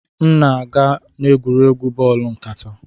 M na-aga n'egwuregwu bọọlụ nkata